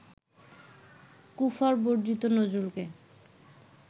কুফর-বর্জিত নজরুলকে